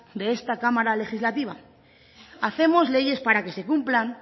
de esta cámara legislativa hacemos leyes para que se cumplan